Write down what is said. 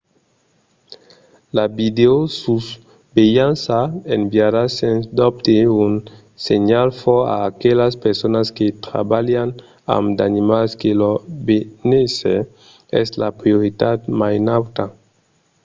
"la videosusvelhança enviariá sens dobte un senhal fòrt a aquelas personas que trabalhan amb d'animals que lor benésser es la prioritat mai nauta.